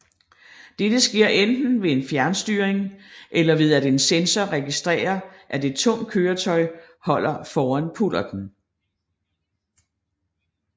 Dette sker enten ved en fjernstyring eller ved at en sensor registrerer at et tungt køretøj holder foran pullerten